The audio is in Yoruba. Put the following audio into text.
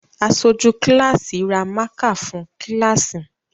Aṣojú kíláàsì ra mákà fún kíláàsì